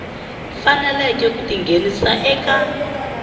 faneleke ku ti nghenisa eka